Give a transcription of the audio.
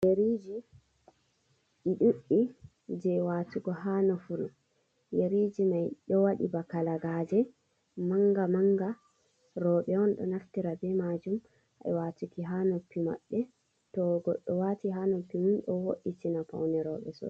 Yariji i ɗuɗdi je watugo ha nofuru, yariji mai ɗo waɗi baka lagaje manga manga, roɓe on ɗo naftira be majum ai watuki ha noppi maɓɓe, to goddo wati ha noppi mum do woditina paune roɓe sosai.